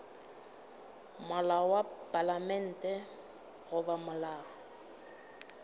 molao wa palamente goba molao